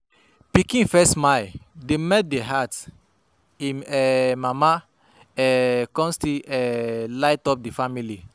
Pikin first smile dey melt di heart im um mama um con still um light up di family.